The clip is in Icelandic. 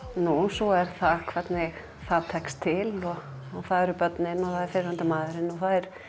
svo er það hvernig það tekst til það eru börnin og fyrrverandi maðurinn og